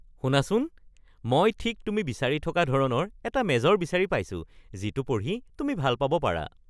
শুনাচোন, মই ঠিক তুমি বিচাৰি থকা ধৰণৰ এটা মেজৰ বিচাৰি পাইছোঁ যিটো পঢ়ি তুমি ভাল পাব পাৰা (অধ্যাপক)